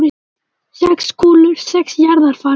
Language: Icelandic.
Sex kúlur, sex jarðarfarir.